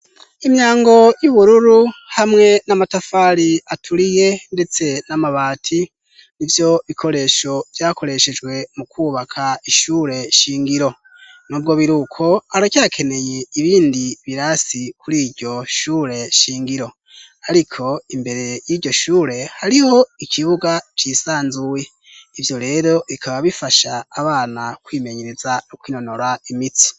Imyango y'ubururu hamwe n'amatafari aturiye, ndetse n'amabati nivyo bikoresho byakoreshejwe mu kubaka ishure shingiro. N'ubwo biruko aracakeneye ibindi birasi kuri iryo shure shingiro, ariko imbere y'iryo shure hariho ikibuga cisanzuye ivyo rero bikaba bifasha abana kwimenyereza no kwinonora imitsi.